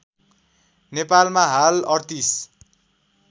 नेपालमा हाल ३८